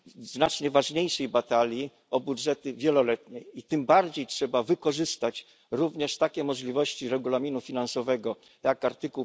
znacznie ważniejszej batalii o budżety wieloletnie i tym bardziej trzeba wykorzystać również takie możliwości rozporządzenia finansowego jak art.